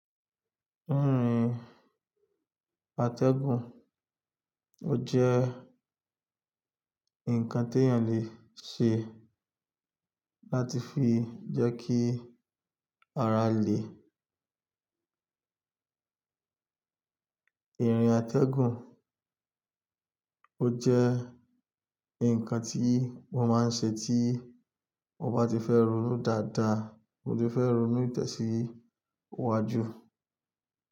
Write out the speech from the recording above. Irin atẹ́gùn, ó jẹ́ ǹkan tí èèyàn lè ṣe láti fi jẹ́ kí ara lè. Irin atẹ́gùn ó jẹ́ ǹkan tí mo máa ń ṣe tí mo bá ti fẹ́ ronú dáadáa mo ti fẹ́ ronú ìtẹ̀síwájú.